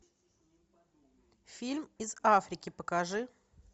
фильм из африки покажи